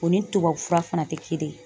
O ni tubabu fura fana tɛ kelen ye.